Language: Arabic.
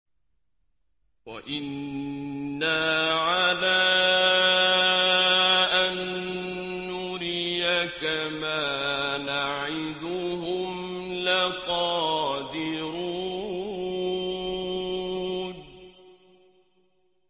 وَإِنَّا عَلَىٰ أَن نُّرِيَكَ مَا نَعِدُهُمْ لَقَادِرُونَ